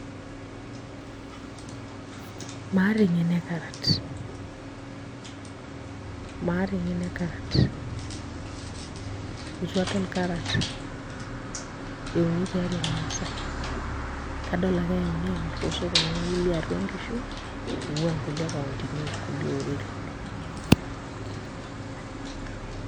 Maata eng'eno e carrot, maata eng'eno e carrot ,itu adol carrot euni tiatua irmaasai. Kadol ake eyauni amir tosokonini liatua nkishu, ing'ua inkulie kauntini orkulie oreren.